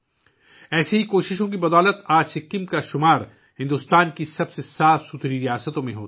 انہی کوششوں کی بدولت آج سکم کا شمار بھارت کی صاف ستھری ریاستوں میں ہوتا ہے